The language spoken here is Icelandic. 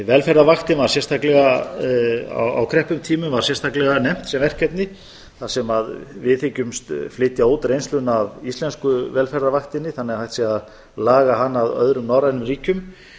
velferðarvaktin á krepputímum var sérstaklega nefnt sem verkefni þar sem við hyggjumst flytja út reynsluna af íslensku velferðarvaktinni þannig að hægt sé að laga hana að öðrum norrænum ríkjum